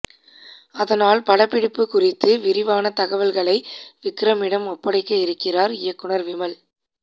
அதனால் படப்பிடிப்பு குறித்து விரிவான தகவல்களை விக்ரமிடம் ஒப்படைக்க இருக்கிறார் இயக்குனர் விமல்